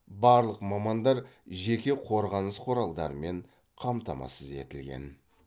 барлық мамандар жеке қорғаныс құралдарымен қамтамасыз етілген